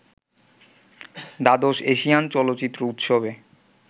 দ্বাদশ এশিয়ান চলচ্চিত্র উৎসবে